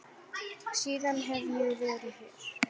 Síðan hef ég verið hér.